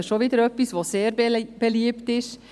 Das ist etwas, das wieder sehr beliebt ist.